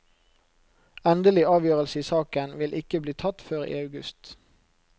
Endelig avgjørelse i saken vil ikke bli tatt før i august.